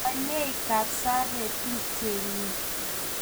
Menyei Kapsabet tupchennyi.